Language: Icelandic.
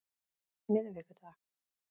miðvikudag